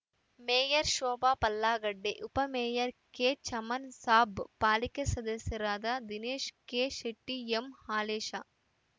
mayor Shobha ಪಲ್ಲಾಗಡ್ಡೆ ಉಪ mayor ಕೆಚಮನ್‌ ಸಾಬ್‌ ಪಾಲಿಕೆ ಸದಸ್ಯರಾದ ದಿನೇಶ ಕೆಶೆಟ್ಟಿ ಎಂಹಾಲೇಶ